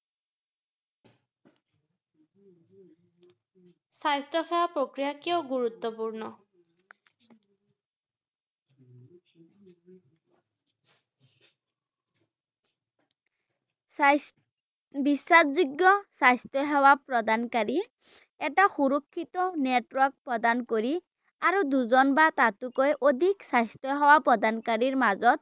স্বাস্থ~ বিশ্বাসযোগ্য স্বাস্থ্য সেৱা প্ৰদানকাৰী এটা সুৰক্ষিত network প্ৰদান কৰি আৰু দুজন বা তাতোতকৈ অধিক স্বাস্থ্য সেৱা প্ৰদানকাৰীৰ মাজত